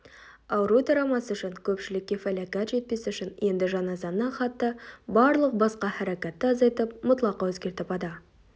ауру тарамас үшін көпшілікке фәләкәт жетпес үшін енді жаназаны хатта барлық басқа хәрәкәтті азайтып мұтлақа өзгертіп ада